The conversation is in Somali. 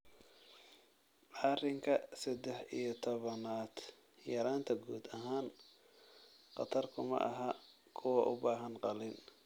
arinka sedex iyo tobaanaad yaraanta guud ahaan khatar kuma aha kuwa u baahan qalliin.